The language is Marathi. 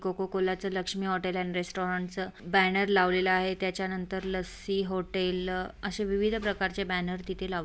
कोको कोला च लक्ष्मी होटल अँड रेस्टोरेन्ट च बैनर लवलेला आहे त्याच्या नंतर लस्सी होटल अशे विविध प्रकार चे बैनर तिथे लाव--